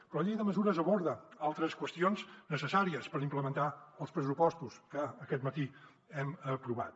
però la llei de mesures aborda altres qüestions necessàries per implementar els pressupostos que aquest matí hem aprovat